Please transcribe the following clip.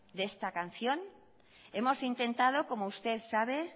de esta canción hemos intentado como usted sabe